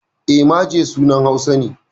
E, Maje sunan Hausa ne.